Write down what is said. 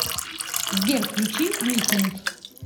сбер включи миссинг